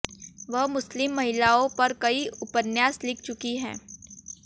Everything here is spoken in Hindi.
वह मुसलिम महिलाओं पर कई उपन्यास लिख चुकी हैं